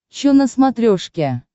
че на смотрешке